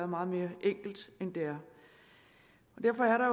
meget mere enkelt end det er derfor er